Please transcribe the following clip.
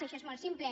això és molt simple